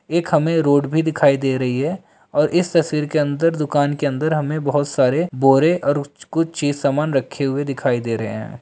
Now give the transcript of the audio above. एक हमें रोड भी दिखाई दे रही है और इस तस्वीर के अंदर दुकान के अंदर हमें बहुत सारे बोरे और कु-कुछ चीज़ सामान रखे हुए दिखाई दे रहे है।